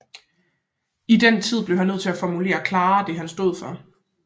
I den tiden blev han nødt til at formulere klarere det han stod for